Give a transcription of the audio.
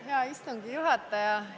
Hea istungi juhataja!